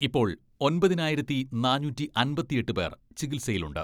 ഇപ്പോൾ ഒമ്പതിനായിരത്തി നാനൂറ്റി അമ്പത്തിയെട്ട് പേർ ചികിത്സയിലുണ്ട്.